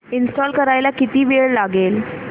install करायला किती वेळ लागेल